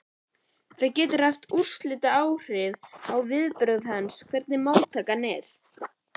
Það getur haft úrslitaáhrif á viðbrögð hans, hvernig móttakan er.